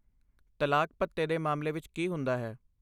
ਤਲਾਕ ਭੱਤੇ ਦੇ ਮਾਮਲੇ ਵਿੱਚ ਕੀ ਹੁੰਦਾ ਹੈ?